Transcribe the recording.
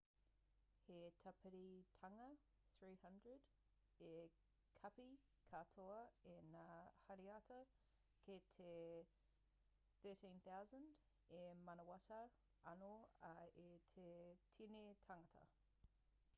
he tāpiritanga 300 e kapi katoa ai ngā hariata ki te 1,3000 e manawatā anō ai i te tini tāngata